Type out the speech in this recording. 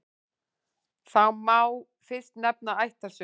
Þar má fyrst nefna ættarsögu.